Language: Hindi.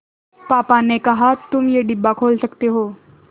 पापा ने कहा तुम ये डिब्बा खोल सकते हो